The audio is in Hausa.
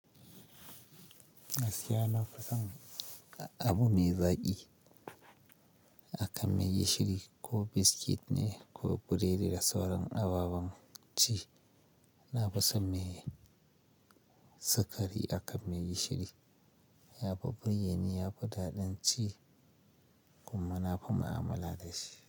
Na fi so abu mai zaƙi akan mai gishiri ko biscuit ne ko burodi da sauran ababan ci. Na fi so mai sukari akan mai gishiri, ya fi burge ni, ya fi daɗin ci kuma na fi ma'amala da shi.